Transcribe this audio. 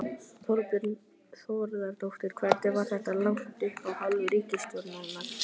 Þorbjörn Þórðarson: Hvernig var þetta lagt upp af hálfu ríkisstjórnarinnar?